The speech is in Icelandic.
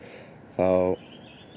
þá